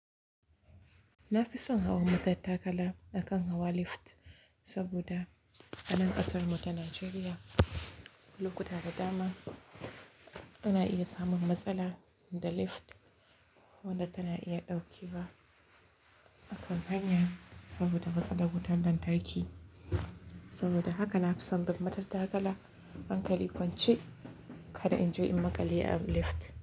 Na fi son hawan matattakala akan hawa lift saboda a nan ƙasarmu ta Najeriya lokuta da dama ana iya samun matsala da lift wadda tana iya ɗaukewa ba a kan hanya saboda matsalar wutar lantarki. Saboda haka nafison bin matattakala hankali kwance kada inje in makale a lift.